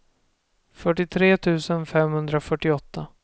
fyrtiotre tusen femhundrafyrtioåtta